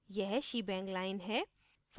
यह shebang line है